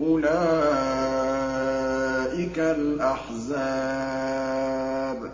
أُولَٰئِكَ الْأَحْزَابُ